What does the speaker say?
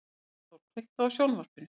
Arnþór, kveiktu á sjónvarpinu.